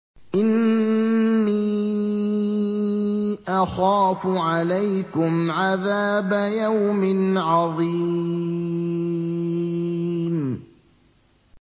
إِنِّي أَخَافُ عَلَيْكُمْ عَذَابَ يَوْمٍ عَظِيمٍ